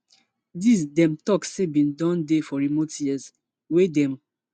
dis dem tok say bin don dey for remote areas wey dem